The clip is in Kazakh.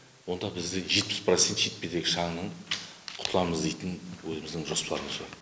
онда бізде жетпіс процент шетпедегі шаңнан құтыламыз дейтін өзіміздің жоспарымыз бар